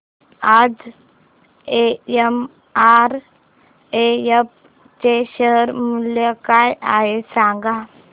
आज एमआरएफ चे शेअर मूल्य काय आहे सांगा